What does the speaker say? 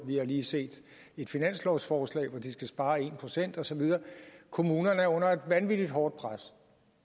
vi lige set et finanslovsforslag hvor de skal spare en procent og så videre kommunerne er under et vanvittigt hårdt pres